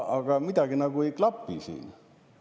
Aga midagi nagu ei klapi siin.